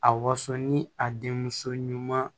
A waso ni a denmuso ɲuman